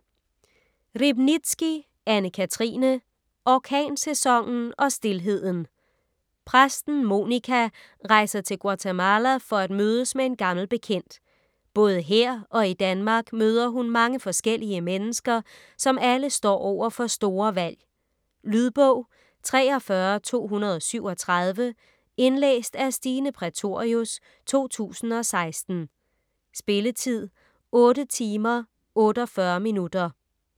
Riebnitzsky, Anne-Cathrine: Orkansæsonen og stilheden Præsten Monica rejser til Guatemala for at mødes med en gammel bekendt. Både her og i Danmark møder hun mange forskellige mennesker, som alle står over for store valg. Lydbog 43237 Indlæst af Stine Prætorius, 2016. Spilletid: 8 timer, 48 minutter.